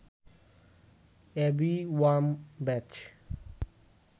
Abby Wambach